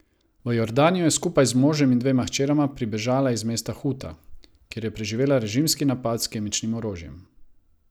V Jordanijo je skupaj z možem in dvema hčerama pribežala iz mesta Huta, kjer je preživela režimski napad s kemičnim orožjem.